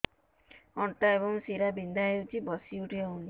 ଅଣ୍ଟା ଏବଂ ଶୀରା ବିନ୍ଧା ହେଉଛି ବସି ଉଠି ହଉନି